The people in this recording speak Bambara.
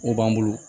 O b'an bolo